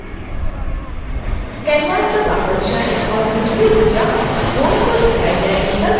canvas पर वापस जाएं और निचली भुजा bone को दिखाए गए अनुसार खिसकाएँ